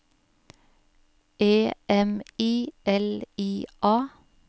E M I L I A